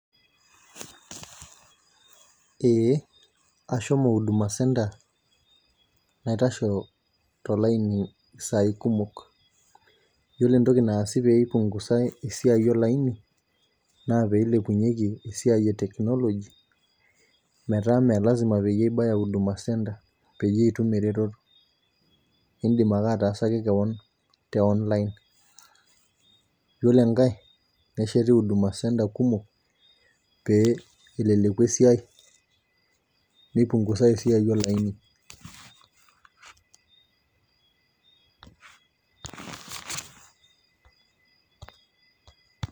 Ee ashomo huduma centre naitashe tolaini isai kumok, ore entoki nasi pee ipungusae esiai olaini, naa pee ilepunyeki esiai e technology ime. Lasima pee ibaya huduma center peyie itume eretoto, idim ake ataasaki kewon te online. iyiolo enkae nesheti huduma center kumok. pee eleleku esiai, nipungusae esiai olaini.